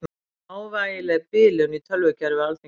Smávægileg bilun í tölvukerfi Alþingis